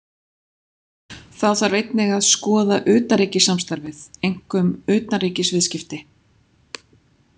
Þá þarf einnig að skoða utanríkissamstarfið, einkum utanríkisviðskipti.